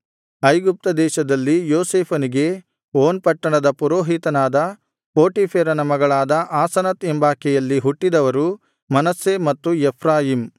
ಐಗುಪ್ತ ದೇಶದಲ್ಲಿ ಯೋಸೇಫನಿಗೆ ಓನ್ ಪಟ್ಟಣದ ಪುರೋಹಿತನಾದ ಪೋಟೀಫೆರನ ಮಗಳಾದ ಆಸನತ್ ಎಂಬಾಕೆಯಲ್ಲಿ ಹುಟ್ಟಿದವರು ಮನಸ್ಸೆ ಮತ್ತು ಎಫ್ರಾಯೀಮ್